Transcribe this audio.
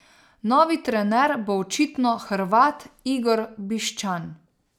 Novi trener bo očitno Hrvat Igor Biščan.